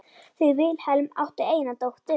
Þau Vilhelm áttu eina dóttur.